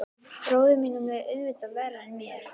Bróður mínum leið auðvitað verr en mér.